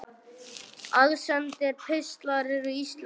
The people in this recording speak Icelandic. Aðsendir pistlar Ertu Íslendingur?